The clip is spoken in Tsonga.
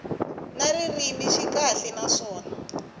na ririmi swi kahle naswona